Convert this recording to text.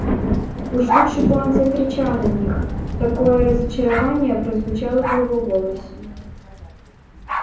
уж лучше бы он закричал на них такое разочарование прозвучало в его голосе